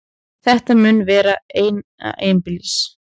Þetta mun vera eina einbýlis